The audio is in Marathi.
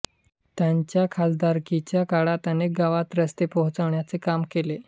त्यांच्या खासदारकीच्या काळात अनेक गावांत रस्ते पोहचवण्याचं काम केले